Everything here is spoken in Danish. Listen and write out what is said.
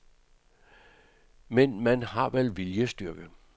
Men man har vel viljestyrke.